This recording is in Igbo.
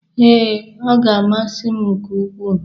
Ee, ọ ga-amasị m nke ukwu.